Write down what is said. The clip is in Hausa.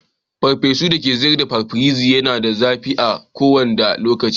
farfesu da ake sayar a paparazzi Yana da zafi a kowanda lokaci.